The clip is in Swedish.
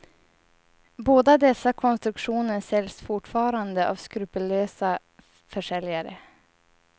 Båda dessa konstruktioner säljs fortfarande av skrupellösa försäljare.